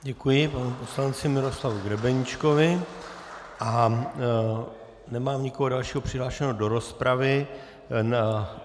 Děkuji panu poslanci Miroslavu Grebeníčkovi a nemám nikoho dalšího přihlášeného do rozpravy.